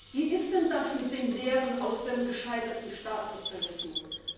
Wie ist denn das mit den Lehren aus dem gescheiterten Staatssozialismus?